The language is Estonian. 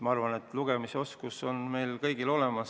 Ma arvan, et lugemisoskus on meil kõigil olemas.